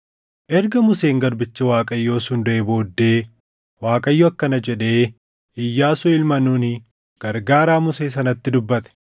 Erga Museen garbichi Waaqayyoo sun duʼee booddee Waaqayyo akkana jedhee Iyyaasuu ilma Nuuni gargaaraa Musee sanatti dubbate: